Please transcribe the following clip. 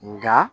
Nga